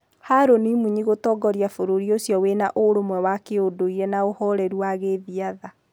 Haron Munyi gũtongoria bũrũri ũcio wĩna ũrũmwe wa kĩndũriri na ũhoreru wa gĩthiatha.